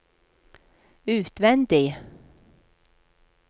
utvendig